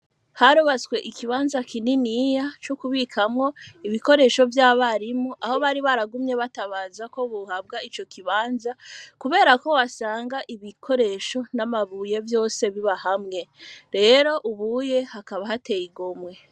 Haribatswe ikibanza kininiya co kubikamwo ibikoresho vy'abarimu aho bari baragumye batabaza ko buhabwa ico kibanza, kubera ko wasanga ibikoresho n'amabuye vyose biba hamwe rero ubuye hakaba hateye igomwe.